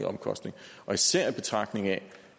omkostning især i betragtning af